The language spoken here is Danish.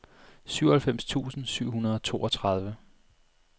syvoghalvfems tusind syv hundrede og toogtredive